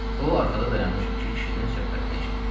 O, arxada dayanmış iki kişinin söhbətini eşitdi.